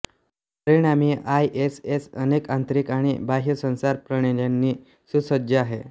परिणामी आयएसएस अनेक आंतरिक आणि बाह्य संचार प्रणाल्यांनी सुसज्ज आहे